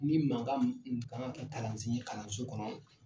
Ni mankan ka kan ka kalansi kalanso kɔnɔ